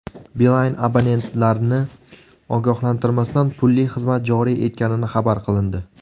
Beeline abonentlarni ogohlantirmasdan pulli xizmat joriy etgani xabar qilindi.